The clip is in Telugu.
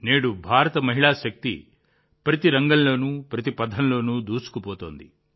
నేడు భారత మహిళా శక్తి ప్రతి రంగంలోనూ ప్రగతి పథంలో దూసుకుపోతోంది